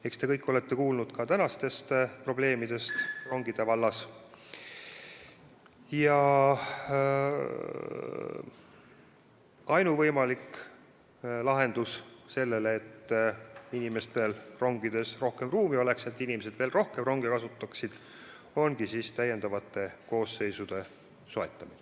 Eks te kõik olete kuulnud selle probleemidest ja ainuvõimalik viis tagada, et inimestel oleks rongides rohkem ruumi, et inimesed veel rohkem ronge kasutaksid, ongi täiendavate koosseisude soetamine.